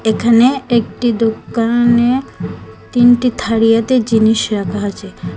এখানে একটি দোকানে তিনটি থারিয়াতে জিনিস রাখা আছে।